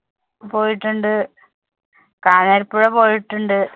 പോയിട്ടുണ്ട്, കാനാരി പ്പുഴ പോയിട്ടുണ്ട്,